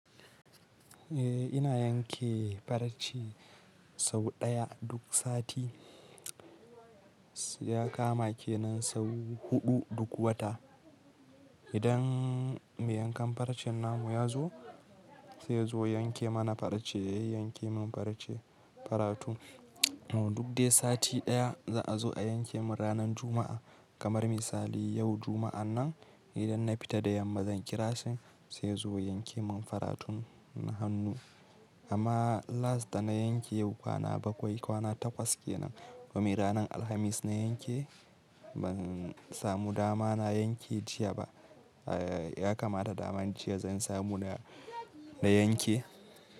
Eh ina yanke farce sau ɗaya duk sati, ya kama kenan sau huɗu duk wata. Idan mai yankan faracen namu ya zo, sai ya zo yanke mana farce, ya yanke min farce, faratu. To duk dai sati ɗaya za a zo a yanke mun ranar Juma'a. Kamar misali yau Juma'a nan idan na fita da yamma zan kira shi sai ya zo ya yanke mun faratun na hannu. Amma last da na yanke yau kwana bakwai, kwana takwas kenan. Domin ranar Alhamis na yanke ban samu dama na yanke jiya ba. Eh ya kamata daman jiya zan samu na, na yanke.